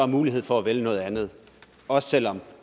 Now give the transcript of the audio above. mulighed for at vælge noget andet også selv om